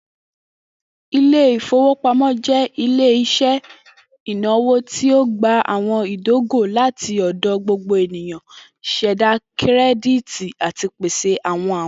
Ile-ifowopamọ jẹ ile-iṣẹ inawo ti o gba awọn idogo lati ọdọ gbogbo eniyan, ṣẹda kirẹditi, ati pese awọn awin.